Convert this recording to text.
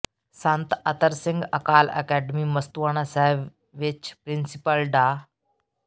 ਸੰਤ Attar Singh Akal academy Mastuana Sahib ਵਿੱਚ principal ਡਾ